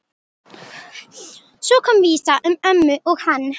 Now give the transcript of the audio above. Svo kom vísa um ömmu og hann